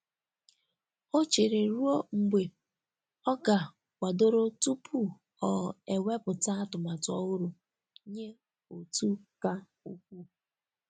Ọ chere ruo mgbe oga kwadoro tupu ọ ewepụta atụmatụ ọhụrụ nye otu ka ukwuu.